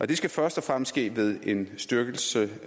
det skal først og fremmest ske ved en styrkelse